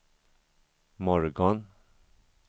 morgon